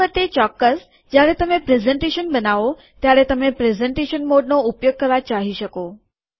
છેવટે ચોક્કસ જ્યારે તમે પ્રેઝેનટેશન બનાવો ત્યારે તમે પ્રેઝેનટેશન મોડનો ઉપયોગ કરવા ચાહી શકો